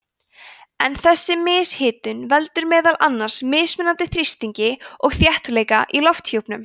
en þessi mishitun veldur meðal annars mismunandi þrýstingi og þéttleika í lofthjúpnum